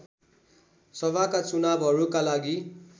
सभाका चुनावहरूका लागि